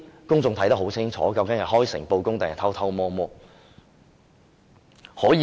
公眾看得很清楚，究竟這是開誠布公，還是偷偷摸摸？